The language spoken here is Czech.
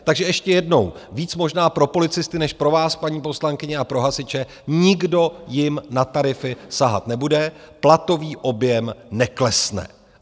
Takže ještě jednou, víc možná pro policisty než pro vás, paní poslankyně, a pro hasiče, nikdo jim na tarify sahat nebude, platový objem neklesne.